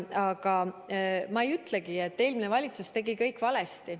Aga ma ei ütle, et eelmine valitsus tegi kõik valesti.